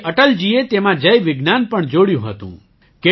પછી અટલજીએ તેમાં જય વિજ્ઞાન પણ જોડ્યું હતું